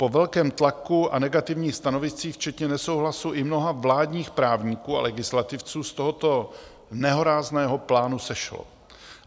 Po velkém tlaku a negativních stanoviscích včetně nesouhlasu i mnoha vládních právníků a legislativců z tohoto nehorázného plánu sešlo.